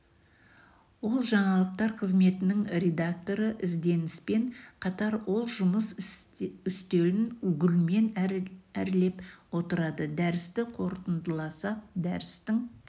ол жаңалықтар қызметінің редакторы ізденіспен қатар ол жұмыс үстелін гүлмен әрлеп отырады дәрісті қорытындыласақ дәрістің